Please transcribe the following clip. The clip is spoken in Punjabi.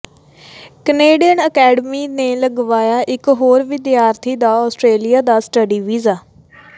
ਕੈਨੇਡੀਅਨ ਅਕੈਡਮੀ ਨੇ ਲਗਵਾਇਆ ਇਕ ਹੋਰ ਵਿਦਿਆਰਥੀ ਦਾ ਆਸਟ੍ਰੇਲੀਆ ਦਾ ਸਟੱਡੀ ਵੀਜ਼ਾ